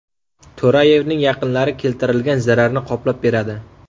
To‘rayevning yaqinlari keltirilgan zararni qoplab beradi.